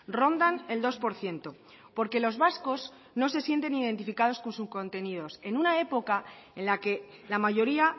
rondan el dos por ciento porque los vascos no se sienten identificados con su contenido en una época en la que la mayoría